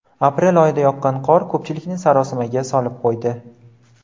Aprel oyida yoqqan qor ko‘pchilikni sarosimaga solib qo‘ydi.